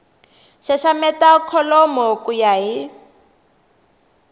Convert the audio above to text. xaxameta kholomo ku ya hi